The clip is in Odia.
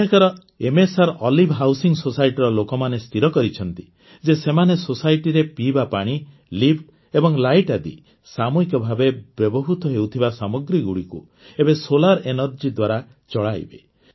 ଏଠାକାର ଏମଏସଆର ଓଇଭ୍ ହାଉସିଂ Societyର ଲୋକମାନେ ସ୍ଥିର କରିଛନ୍ତି ଯେ ସେମାନେ ସୋସାଇଟିରେ ପିଇବା ପାଣି ଲିଫ୍ଟ ଏବଂ ଲାଇଟ ଆଦି ସାମୂହିକ ଭାବେ ବ୍ୟବହୃତ ହେଉଥିବା ସାମଗ୍ରୀଗୁଡ଼ିକୁ ଏବେ ସୋଲାର ଏନଭେରୀ ଦ୍ୱାରା ଚଲାଇବେ